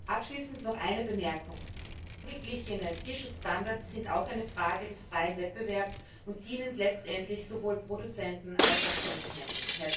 Abschließend noch eine Bemerkung Angeglichene Tierschutzstandards sind auch eine Frage des freien Wettbewerbs und dienen letztendlich sowohl Produzenten als auch Konsumenten.